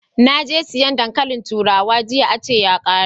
Naje sayan dankalin turawa jiya a ce ya kare